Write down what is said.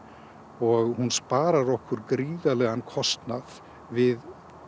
og sparar okkur gríðarlegan kostnað við